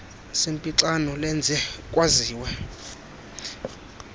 sempixano lenze kwaziwe